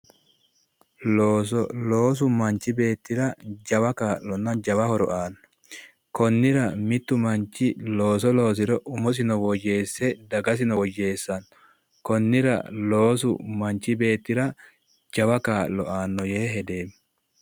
Looso loosu manchi beettira jawa kaa'lonna jawa horo aanno konnira mittu manchi looso loosiro umosino woyyeesse dagasino woyyeessanno konnira loosu manchi beettira jawa kaa'lo aanno yee hedeemmo